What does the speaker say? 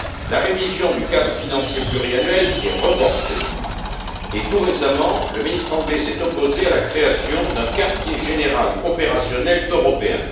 La révision du cadre financier pluriannuel est reportée et, tout récemment, le ministre anglais s'est opposé à la création d'un quartier général opérationnel européen.